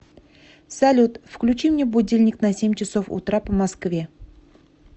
салют включи мне будильник на семь часов утра по москве